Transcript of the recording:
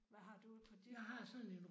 Hvad har du på dit kort?